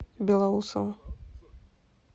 белоусово